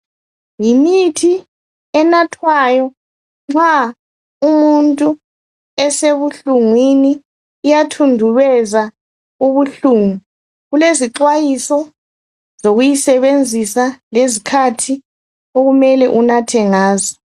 yimithi enathwayo nxa umuntu esebuhlungwini iyathundubeza ubuhlungu kulezixhwayiso zokuyisebenzisa lezikhathi okumele unathe ngazo